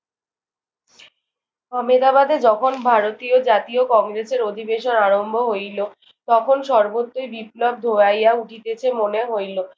আমেদাবাদে যখন ভারতীয় জাতীয় কংগ্রেসের অধিবেশন আরম্ভ হইল, তখন সর্বত্রই বিপ্লব ধোঁয়াইয়া উঠিতেছে মনে হইল।